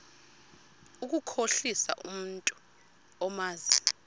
ukukhohlisa umntu omazi